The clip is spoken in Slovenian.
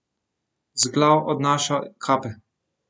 Z glav odnaša kape.